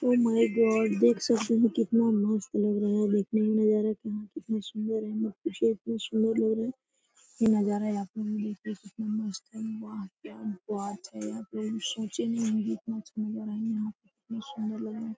देख सकते है कितना मस्त लग रहा है देखने में लग रहा कि हां कितनी सुन्दर है सुन्दर लग रहा वाह क्या बात है कभी सोचे नहीं होंगे इतना अच्छा नजारा हैं यहां पे। कितनी सुन्दर --